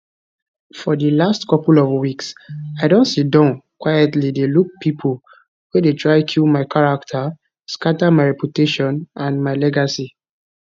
for di last couple of weeks i don siddon quietly dey look pipo wey dey try kill my character scata my reputation and my legacy